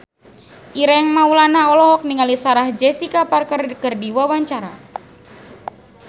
Ireng Maulana olohok ningali Sarah Jessica Parker keur diwawancara